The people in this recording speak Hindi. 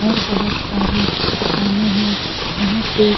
और बहुत सारी दुकाने है यहाँ पे--